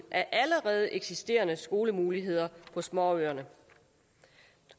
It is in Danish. af allerede eksisterende skolemuligheder på småøerne